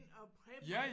Og preppe